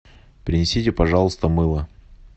принесите пожалуйста мыло